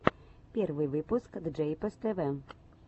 первый выпуск джейпос тв